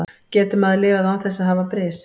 Getur maður lifað án þess að hafa bris?